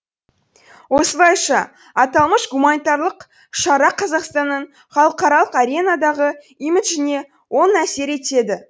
осылайша аталмыш гуманитарлық шара қазақстанның халықаралық аренадағы имиджіне оң әсер етеді